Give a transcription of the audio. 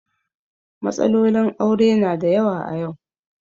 Matsalolin aure na da yawa a yau.